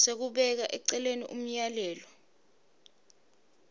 sekubeka eceleni umyalelo